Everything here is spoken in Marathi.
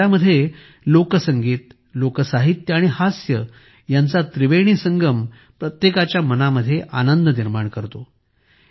या डायरा मध्ये लोकसंगीत लोकसाहित्य आणि हास्य यांचा त्रिवेणी संगम प्रत्येकाच्या मनामध्ये आनंद निर्माण करतो